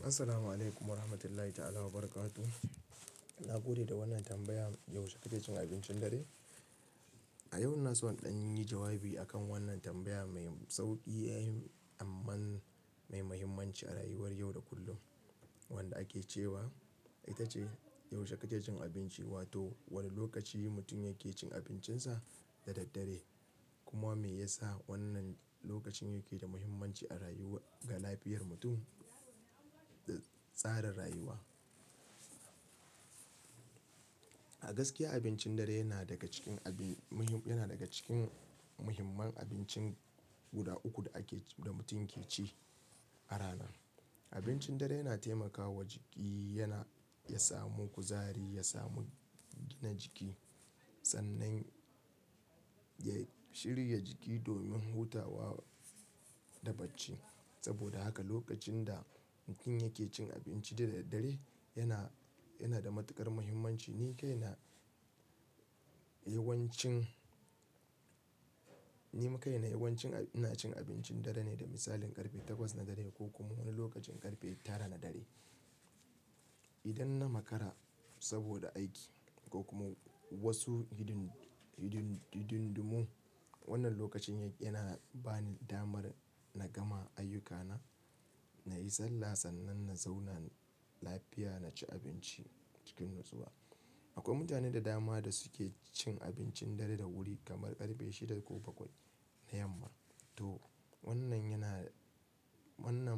Assalamualaikum warahmatullahi ta'ala wabarakatuh. Na gode da wannan tambaya. Yaushe kake cin abincin dare? A yau ina so in dan yi jawabi akan wannan tambaya mai sauƙi ai amma mai mahimmanci a rayuwar yau da kullum wanda ake cewa ita ce "Yaushe kake cin abinci?" Wato wane lokaci mutum yake cin abincinsa da daddare kuma me yasa wannan lokacin yake da mahimmanci ga lafiyar mutum da tsarin rayuwa. A gaskiya abincin dare yana daga cikin muhimman abinci guda uku da ake da mutum yake ci a rana. Abincin dare yana taimakawa jiki ya samu kuzari, ya samu gina jiki sannan ya shirya jiki domin hutawa da bacci. Saboda haka lokacin da mutum yake cin abinci da daddare yana da matuƙar mahimmanci. Ni kaina yawancin ina cin abincin dare ne da misalin ƙarfe takwas na dare ko kuma wani lokacin ƙarfe tara na dare. Idan na makara saboda aiki ko kuma wasu hididdunmu wannan lokacin yana bani damar na gama ayyukana, na yi sallah sannan na zauna lafiya na ci abinci cikin natsuwa. Akwai mutane da dama da suke cin abincin dare da wuri kamar ƙarfe shida ko bakwai na yamma. To wannan